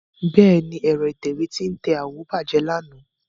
Bẹ́ẹ̀ni, ẹ̀rọ ìtẹ̀wé tí ń tẹ àwọ̀ bàjẹ́ lánàá.